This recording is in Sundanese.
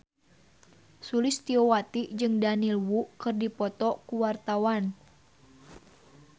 Sulistyowati jeung Daniel Wu keur dipoto ku wartawan